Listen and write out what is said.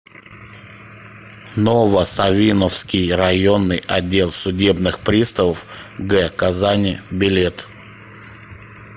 ново савиновский районный отдел судебных приставов г казани билет